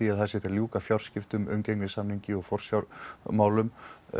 að það sé hægt að ljúka fjárskiptum umgengnissamningi í forsjármálum